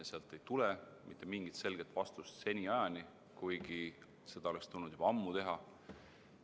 Sealt ei ole seniajani tulnud mitte mingit selget vastust, kuigi seda oleks tulnud juba ammu teha.